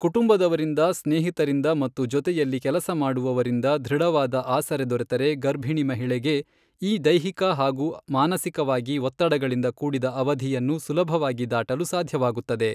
ಕುಟುಂಬದವರಿಂದ ಸ್ನೇಹಿತರಿಂದ ಮತ್ತು ಜೊತೆಯಲ್ಲಿ ಕೆಲಸಮಾಡುವವರಿಂದ ಧೃಡವಾದ ಆಸರೆ ದೊರೆತರೆ ಗರ್ಭಿಣಿ ಮಹಿಳೆಗೆ ಈ ದೈಹಿಕ ಹಾಗೂ ಮಾನಸಿಕವಾಗಿ ಒತ್ತಡಗಳಿಂದ ಕೂಡಿದ ಅವಧಿಯನ್ನು ಸುಲಭವಾಗಿ ದಾಟಲು ಸಾಧ್ಯವಾಗುತ್ತದೆ.